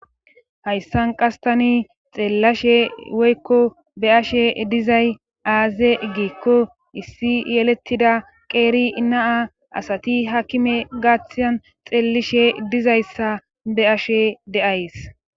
hayssan qastani xeellashe woykko be ashe dizay aaze giikko issi yelettida qeeri naa asati hakime gaaththiyan xeellishe dizayssa be ashe deays